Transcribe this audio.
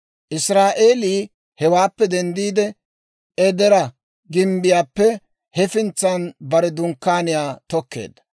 Israa'eelii hewaappe denddiide, Edera gimbbiyaappe hefintsaan bare dunkkaaniyaa tokkeedda.